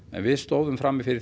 en við stóðum frammi fyrir